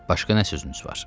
Başqa nə sözünüz var?